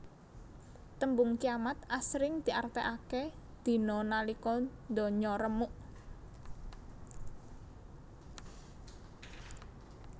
Tembung kiamat asring diartèkaké dina nalika ndonya remuk